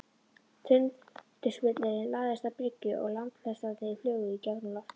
Tundurspillirinn lagðist að bryggju og landfestarnar flugu í gegnum loftið.